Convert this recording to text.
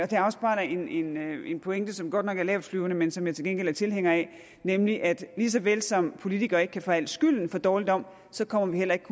det afspejler en pointe som godt nok er lavtflyvende men som jeg til gengæld er tilhænger af nemlig at lige så vel som politikere ikke kan få al skylden for dårligdom så kommer vi heller ikke